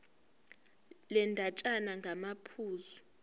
le ndatshana ngamaphuzu